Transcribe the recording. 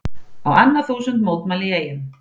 Á annað þúsund mótmæla í Eyjum